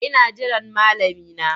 Ina jiran malami na.